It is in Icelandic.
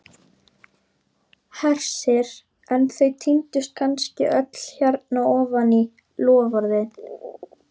Hersir: en þau týndust kannski öll hérna ofan í, loforðin?